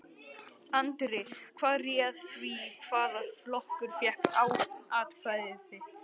Andri: Hvað réð því hvaða flokkur fékk atkvæði þitt?